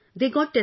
Yes Sir